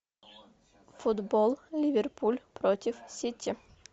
футбол ливерпуль против сити